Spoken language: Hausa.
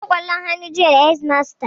Mun buga ƙwallon hannu jiya da hedimasta